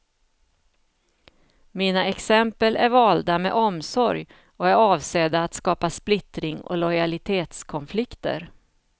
Mina exempel är valda med omsorg och är avsedda att skapa splittring och lojalitetskonflikter.